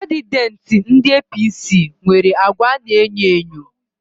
Kandideti ndị APC nwere àgwà ana e nyo enyo